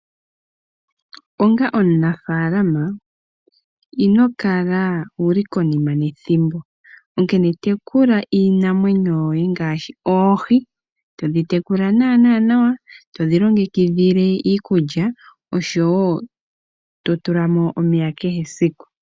Onga omunafalama ino kala wuli konima nethimbo onkene tekula iinamwenyo yoye ngaashi oohi. To dhi tekula naana nawa nawa, to dhi longekidhile iikulya oshowo to tulamo omeya kehe esiku.